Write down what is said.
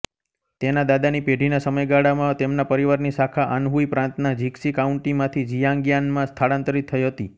તેના દાદાની પેઢીના સમયગાળામાં તેમના પરિવારની શાખા આન્હુઈ પ્રાંતના જિક્સી કાઉન્ટીમાંથી જિઆંગ્યાનમાં સ્થળાંતરિત થઈ હતી